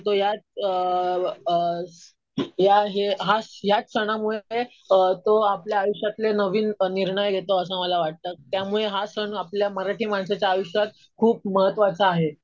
करतो. अ याच सणामुळे तो आपल्या आयुष्यातले नवीन निर्णय घेतो असं मला वाटतं. त्यामुळे हा सण आपल्या मराठी माणसाच्या आयुष्यात खूप महत्वाचा आहे.